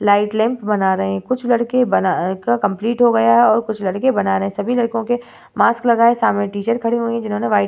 Light lamp बना रहे हैं कुछ लड़के बना अ कर कंप्लीट हो गया हैं और कुछ लड़के बना रहे हैं। सभी लड़कों के मास्क लगा है। सामने टीचर खड़े हुई है जिन्होंने वाइट --